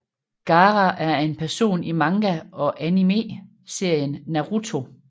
Gaara er en person i manga og anime serien Naruto